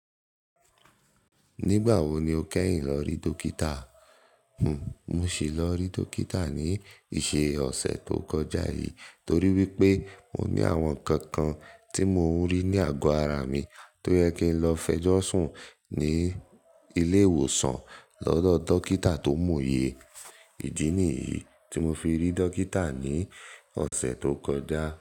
Nígbà wo ni o kẹ́yìn lọ rí dókítà? Mo sì lọ rí dókítà ní ìṣe ọ̀sẹ̀ tó kọjá yìí torí wípé mo ní àwọn ǹkan kan tí mo ń rí ní àgọ ara mi tó yẹ kí n lọ fẹjọ́ sùn ní ilé ìwòsàn lọ́dọ̀ dókítà tó mọ̀ oyẹ. Ìdí nìyí tí mo fi rí dókítà ní ọ̀sẹ̀ tó kọjá.